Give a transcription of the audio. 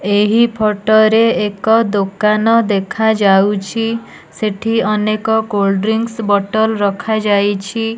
ଏହି ଫଟ ରେଏକ ଦୋକାନ ଦେଖାଯାଉଛି। ସେଠି ଅନେକ କୋଲ୍ଡ ଡ୍ରିଙ୍କ ବଟଲ ରଖାଯାଇଛି।